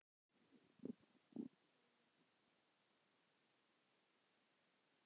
Hvers vegna segi ég þetta?